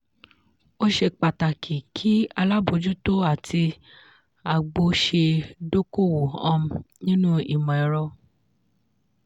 ó ṣe pàtàkì kí alábòjútó àti agbó ṣe dókòwò um nínú imọ̀ ẹ̀rọ.